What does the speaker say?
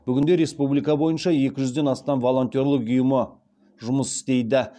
бүгінде республика бойынша екі жүзден астам волонтерлік ұйымы жұмыс істейді